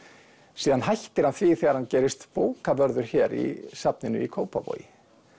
síðan hættir hann því þegar hann gerist bókavörður hér í safninu í Kópavogi